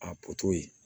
A